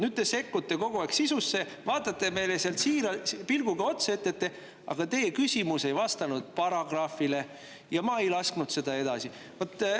Nüüd te sekkute kogu aeg sisusse, vaatate meile sealt siira pilguga otsa ja ütlete: "Aga teie küsimus ei vastanud paragrahvile ja ma ei lasknud seda edasi.